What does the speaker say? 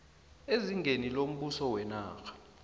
ezingeni lombuso wenarha